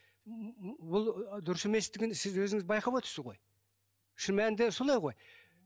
бұл дұрыс еместігін сіз өзіңіз байқап отырсыз ғой шын мәнінде солай ғой